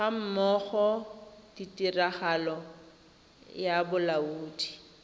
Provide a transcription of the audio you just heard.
gammogo le tiragatso ya bolaodi